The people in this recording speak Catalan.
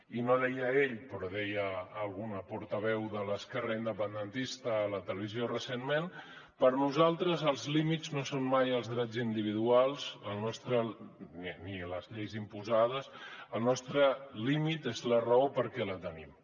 i no ho deia ell però deia alguna portaveu de l’esquerra independentista a la televisió recentment per nosaltres els límits no són mai els drets individuals ni les lleis imposades el nostre límit és la raó perquè la tenim